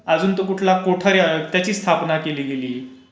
अजून तो कुठला कोठा त्याची स्थापना केली गेली.